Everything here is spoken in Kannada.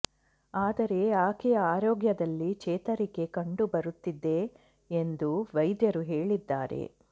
ಆದರೆ ಆಕೆಯ ಆರೋಗ್ಯದಲ್ಲಿ ಚೇತರಿಕೆ ಕಂಡು ಬರುತ್ತಿದೆ ಎಂದು ವೈದ್ಯರು ಹೇಳಿದ್ದಾರೆ